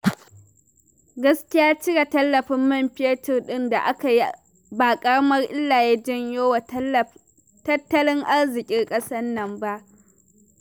Gaskiya cire tallafin man fetur ɗin da aka yi ba ƙaramar illa ya janyo wa tattalin arziƙin kasar nan ba